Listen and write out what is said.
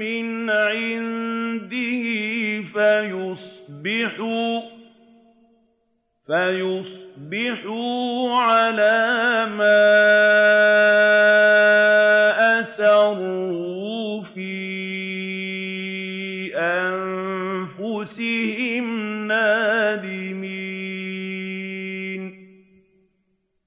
مِّنْ عِندِهِ فَيُصْبِحُوا عَلَىٰ مَا أَسَرُّوا فِي أَنفُسِهِمْ نَادِمِينَ